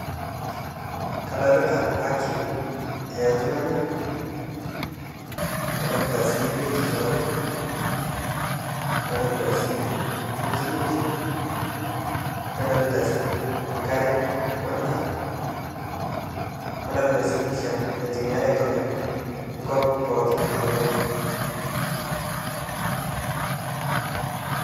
Kadolita haki ooltunganak, nadolita sii bietisho ooltunganak, nadolita sii misikinisho, nadoolta sii enkare wendaa, nadoolta sii pisha naitumiare aitodol enkop pookin nalulunga.